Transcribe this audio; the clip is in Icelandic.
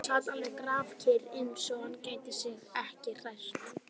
Sat alveg grafkyrr, eins og hann gæti sig ekki hrært.